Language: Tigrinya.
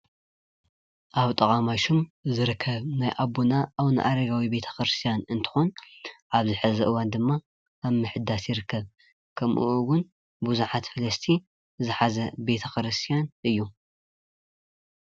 ኣብ ጥቃ ማሹም ዝርከብ ናይ ኣቦና ኣረጋዊ ቤተክርስትያን እንትከውን ኣብዚ ሕዚ እዋን ድማ ኣብ ምሕዳስ ይርከብ፡፡ ከምኡ እውን ቡዙሓት ፈላስቲ ዝሓዘ ቤተክርስትያን እዩ፡፡